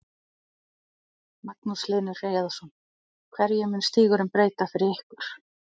Magnús Hlynur Hreiðarsson: Hverju mun stígurinn breyta fyrir ykkur?